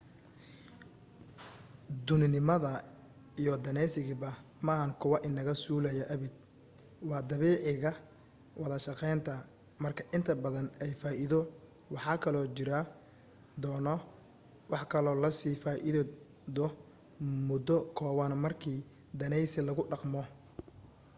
dhuuninimada iyo daneysigaba maaha kuwa inaga suulaya abid waa dabiiciga wada-shaqeynta marka inta badan ay faa'iido waxaa kaloo jiri doono wax kaloo lasii faa'iido muddo kooban markii daneysi lagu dhaqmo